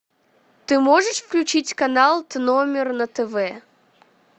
ты можешь включить канал т номер на тв